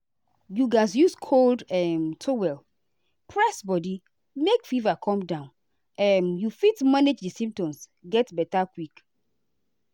you gatz use cold um towel press body make fever come down make um you fit manage di symptoms get beta quick.